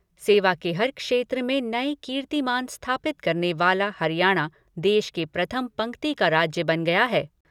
सेवा के हर क्षेत्र में नए कीर्तिमान स्थापित करने वाला हरियाणा, देश के प्रथम पंक्ति का राज्य बन गया है।